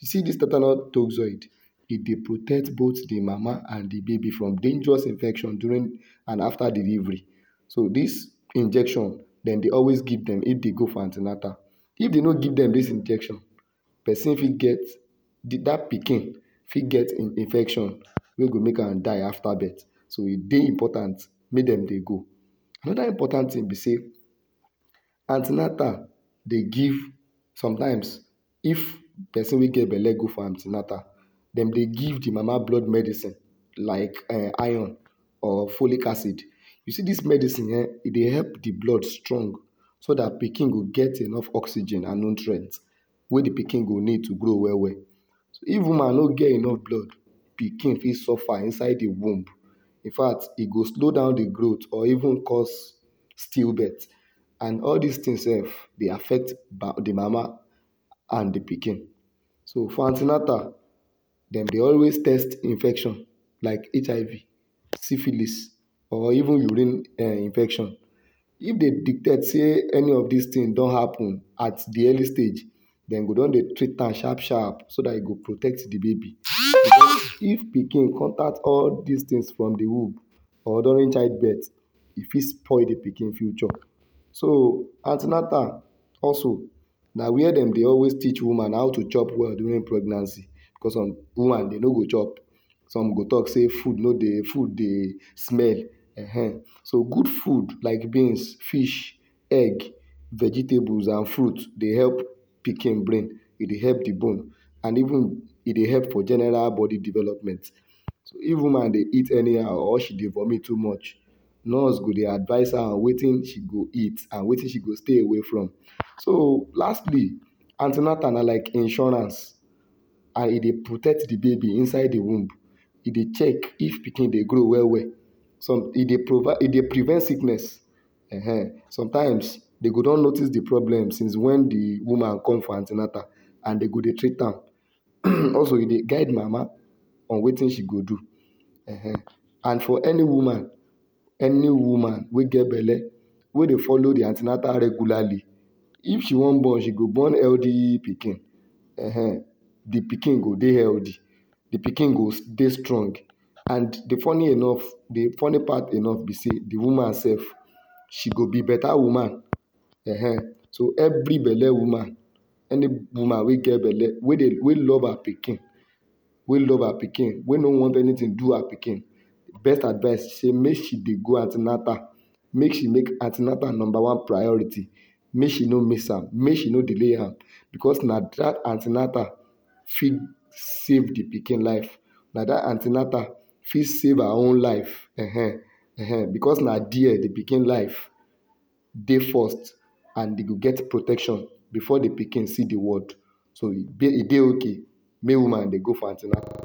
You see dis tetanus toxoid, e dey protect both di mama and di baby from dangerous infection during and after delivery. So dis injection, dem dey always give dem if dem go for an ten atal. If dem no give them dis injection, pesin fit get di dat pikin fit get infection wey go make am die after birth. So, e dey important make dem dey go. Anoda important tin be sey an ten atal dey give sometimes, if pesin wey get belle go for an ten atal, dem dey give di mama blood medicine like um iron or follic acid. You see dis medicine eh, e dey help di blood strong so dat pikin go get enough oxygen and nutrient wey di pikin go need to grow well well. If woman no get enuf blood, pikin fit suffer inside di womb infact, e go slow down di growth or even cause still birth and all these tins sef dey affect di mama and di pikin. So for an ten atal, dem dey always test infection like HIV, syphilis or even urine um infection. If dem detect sey any of dis tin don happen at di early stage, dem go don dey treat am sharp sharp so dat e go protect di baby. Becos if pikin contact all these tins from di womb or during child birth, e fit spoil di pikin future. So, an ten atal also na wia dem dey always teach woman how to chop well during pregnancy becos some woman, dem no go chop, some go tok sey food no dey food dey smell ehen. So good food like beans, fish, egg, vegetables and fruit dey help pikin brain, e dey help di bone and even, e dey help for general bodi development. If woman dey eat anyhow or she dey vomit too much, nurse go dey advice her on wetin she go eat and wetin she go stay away from. So lastly, an ten atal na like insurance, and e dey protect di baby inside di womb, e dey check if pikin dey grow well well. Some e dey e dey prevent sickness ehen. Sometimes dey go don notice di problem since wen di woman come for an ten atal and dem go dey treat am. Also e dey guide mama on wetin she go do ehen. And for any woman wey get belle, wey dey follow di an ten atal regularly, if she wan born, she go born healthy pikin ehen. Di pikin go dey healthy, di pikin go dey strong and di funny enuf, di funny part enuf be sey, di woman sef, she go be beta woman ehen. So evri belle woman, any woman wey get belle, wey wey love her pikin, wey love her pikin, wey no want anytin do her pikin, best advice be be sey make she dey go an ten atal, make she make an ten atal number one priority, make she no miss am, make she no delay am becos na dat an ten atal fit save di pikin life, na dat an ten atal fit save her own life ehen ehen becos na there di pikin life dey first and dem go get protection before di pikin see d world. So e e dey okay make woman dey go for an ten atal.